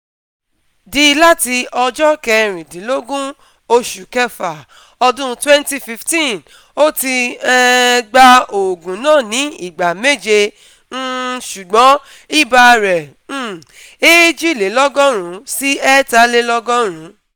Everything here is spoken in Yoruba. D láti ọjọ́ sixteen / six / twenty fifteen, ó ti um gba òògùn náà ní ìgbà méje um ṣùgbọ́n ibà rẹ̀ um ( one hundred two - one hundred three